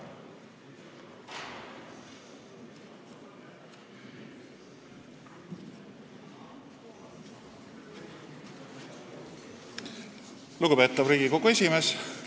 Lugupeetav Riigikogu esimees!